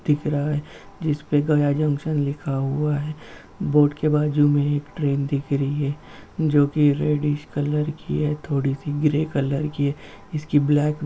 दिख रहा है जिसपे गया जंक्शन लिखा हुआ है। बोर्ड के बाजू में एक ट्रेन दिख रही है जोकि रेडिश कलर की है थोड़ी-सी ग्रे कलर की है। इसकी ब्लैक --